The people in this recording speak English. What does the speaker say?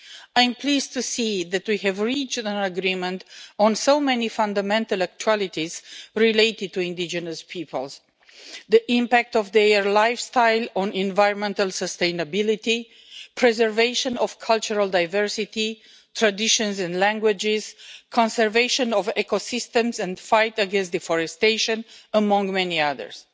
I am pleased to see that we have reached an agreement on so many fundamental actualities related to indigenous peoples the impact of their lifestyle on environmental sustainability, the preservation of cultural diversity, traditions and languages, the conservation of ecosystems and the fight against deforestation, among many others.